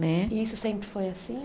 Né. E isso sempre foi assim?